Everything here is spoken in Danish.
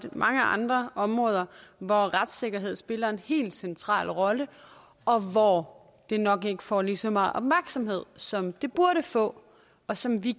mange andre områder hvor retssikkerheden spiller en helt central rolle og hvor den nok ikke får lige så meget opmærksomhed som den burde få og som vi